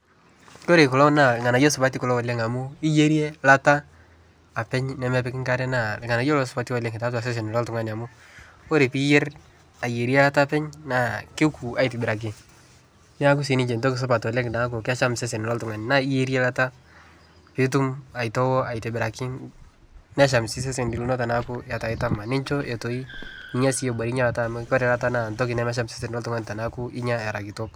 Kore kuloo naa lghanayo supatii oleng amu iyerie lataa lataa apeny nemepiki nkare naa lghanayo lolo supati taatua sesen loltungani amu Kore piiyer ayerie lataa ake apeny naa kokuu aitibiraki naaku sii ninshe ntokii supat naaku kesham sesen loltunganii naa iyerie lataa piitum aitoo aitibirakii nesham sii sesen linoo tanaaku etaa itamaa ninshoo etoi ninya sii ebore inia lata amu Kore lata naa ntoki nasham sesen loltungani tininga eraa kitok